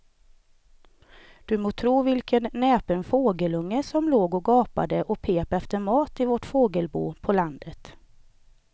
Du må tro vilken näpen fågelunge som låg och gapade och pep efter mat i vårt fågelbo på landet.